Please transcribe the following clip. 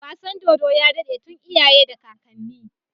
Wasan dodo ya dade tun iyaye da kakanni